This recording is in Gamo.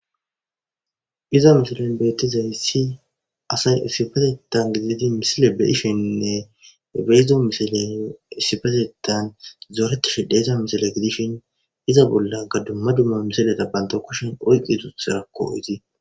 iza misilen beettizay si asay sifatetan gididi misile be hishinnne beezdo misilen isifatetan zooreti shidhe iza misile gidishin iza bolla gadumma dumma misileta banto kushin oyqqi tutherakko iti